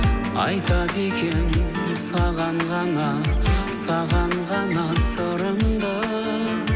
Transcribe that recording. айтады екенмін саған ғана саған ғана сырымды